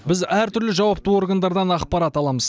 біз әртүрлі жауапты органдардан ақпарат аламыз